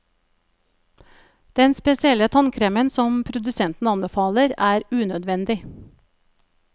Den spesielle tannkremen som produsenten anbefaler, er unødvendig.